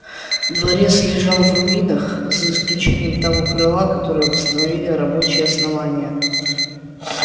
дворец лежал в руинах за исключением того крыла которое восстановили рабочие основания